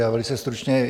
Já velice stručně.